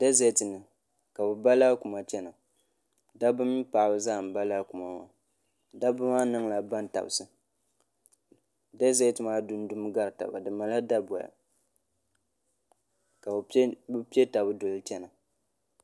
dɛzɛt ni ka bi ba laakuma chɛna dabba mini paɣaba zaa n ba laakuma maa dabba maa niŋla bantabsi dɛzɛt maa dundumi gari taba di malila daboya ka bi piɔ taba doli chɛna